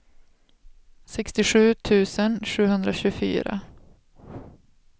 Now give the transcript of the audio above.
sextiosju tusen sjuhundratjugofyra